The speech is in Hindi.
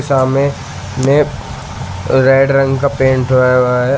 में रेड रंग का पेंट हुआ हुआ है।